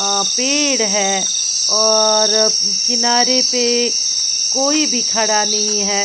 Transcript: अ पेड़ है और किनारे पे कोई भी खड़ा नहीं है।